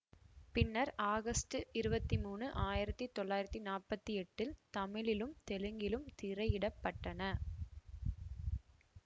பின்னர் ஆகஸ்ட் இருவத்தி மூனு ஆயிரத்தி தொள்ளாயிரத்தி நாப்பத்தி எட்டில் தமிழிலும் தெலுங்கிலும் திரையிடப்பட்டன